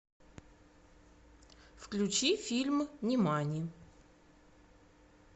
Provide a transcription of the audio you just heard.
включи фильм нимани